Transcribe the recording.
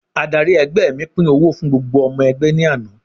Adárí ẹgbẹ́ mi pín owó fún gbogbo ọmọ ẹgbẹ́ ní àná.